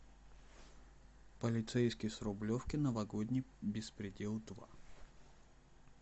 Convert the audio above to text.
полицейский с рублевки новогодний беспредел два